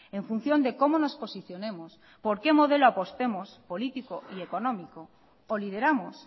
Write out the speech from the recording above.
en función de cómo nos posicionemos por qué modelo apostemos político y económico o lideramos